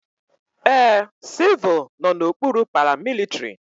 Ee, civul nọ n'okpuru paramilitrị.